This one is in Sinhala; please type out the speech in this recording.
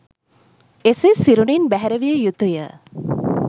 එසේ සිරුරින් බැහැර විය යුතුය.